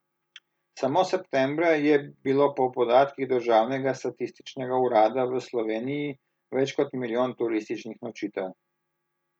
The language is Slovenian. Samo septembra je bilo po podatkih državnega statističnega urada v Sloveniji več kot milijon turističnih nočitev.